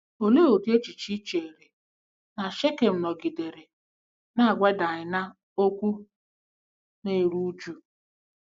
Olee ụdị echiche i chere na Shekem “nọgidere na-agwa Daịna okwu na-eru uju”?